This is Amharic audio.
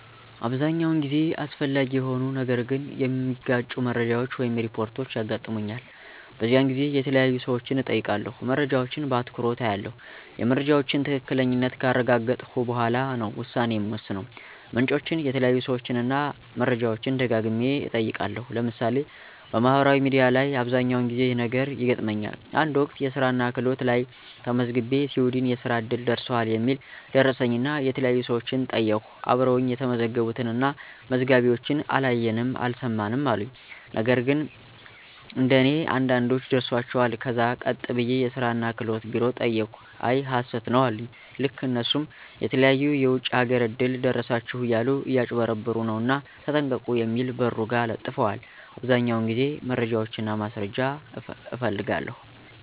አብዛኛውን ጊዜ አስፈላጊ የሆኑ ነገር ግን የመጋጩ መረጃወች ወይም ሪፖርች ያጋጥሙኛል። በዚያን ጊዜ የተያዩ ሰወችን እጠይቃለሁ። መረጃወችን በአትኩሮች አያለሁ የመረጃወችን ትክክለኛነት ካረጋገጥሁ በኋላ ነው ውሳኔ ምወስነው። ምንጮችን፣ የተያዩ ሰወችን እና መረጃወችን ደጋግሚ እጠይቃለሁ። ለምሳሌ፦ በማህበራዊ ሚዲያ ላይ አብዘኛውን ጊዜ ይህ ነገር ይገጥመኛል። አንድ ወቅት የስራናክህሎት ላየ ተመዝግቤ ሲዊድን የእስራ እድል ደርሶሀል የሚል ደረሰኝናየተለያዩ ሰወችን ጠይቅሁ አብረወኝ የተመዘገቡትን እና መዝጋቢወችን አላየንም አልሰማንም አሉኝ። ነግን እንደኔ አንዳንዶች ደርሷቸዋል ከዛ ቀጥ ብየ የስራ እና ክህሎት ቢሮ ጠየቅሁ አይ ሀሰት ነው አሉኝ። ልክ እነሱም የተለያዩ የወጭ አገር እድል ደረሳችሁ እያሉ እያጭበረበሩ ነውና ተጠንቀቁ የሚል በሩ ጋ ለጥፈዋል። አብዛኛውን ጊዜ መረጃና ማስረጃ እፈልጋለሁ።